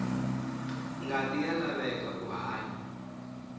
ngati ya laveka ku hanya